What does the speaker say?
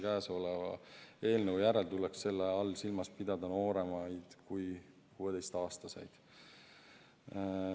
Käesolevas eelnõus tuleks selle all silmas pidada nooremaid kui 16-aastaseid.